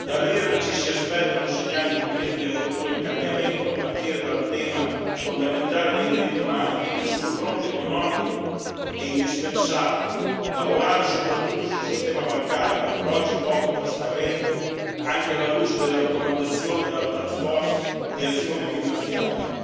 Dall'Iran ci si aspettano segnali concreti di apertura e cambiamento, a partire dal tema fondamentale dei diritti umani, mentre sul fronte economico è indispensabile lavorare soprattutto sul sistema bancario, ancora oggi poco trasparente, anche alla luce delle raccomandazioni della task force di azione finanziaria,